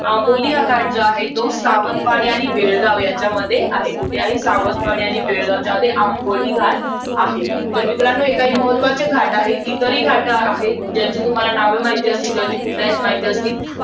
तर आंबोली घाट जो आहे. तो सावंतवाडी आणि बेळगाव यांच्यामध्ये आहे. कुठे आहे? सावंतवाडी आणि बेळगाव यांच्यामध्ये आंबोली घाट आहे. तर मित्रांनो, हे काही महत्वाचे घाट आहेत. इतरही घाट आहेत. ज्यांची तुम्हाला नावे माहित असतील. किंवा ती कुठे आहेत, माहित असतील.